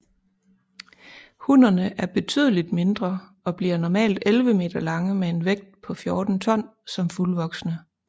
Hunnerne er betydeligt mindre og bliver normalt 11 meter lange med en vægt på 14 ton som fuldvoksne